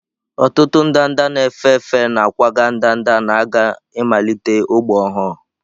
Ọtụtụ ndanda na-efe efe na-akwaga ndanda na-aga ịmalite ógbè ọhụrụ.